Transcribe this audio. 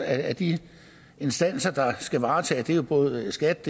at de instanser der skal varetage det er både skat